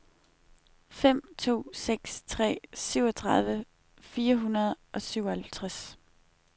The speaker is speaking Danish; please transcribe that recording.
fem to seks tre syvogtredive fire hundrede og syvoghalvtreds